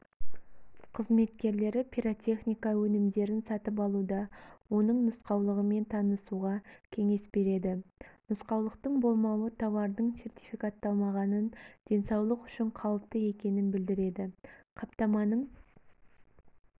қызметкерлері пиротехника өнімдерін сатып алуда оның нұсқаулығымен танысуға кеңес береді нұсқаулықтың болмауы тауардың сертификатталмағанын денсаулық үшін қауіпті екенін білдіреді қаптаманың